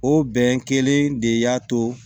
O bɛn kelen de y'a to